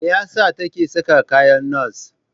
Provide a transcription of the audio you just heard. Me ya sa take saka kayan nasa?